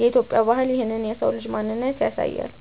የኢትዮጵያ ባህል ይህንን የሰው ልጅ ማንነት ያሳያል።